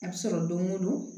A bɛ sɔrɔ don o don